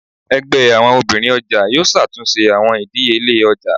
Ẹgbẹ àwọn obìnrin ọjà yóò ṣàtúnṣe àwọn ìdíyelé ọjà.